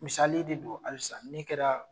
Misali de don alisa min kɛra